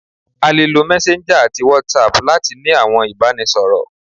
À le lò messenger ati whatsapp latí ní àwọn ibanisọrọ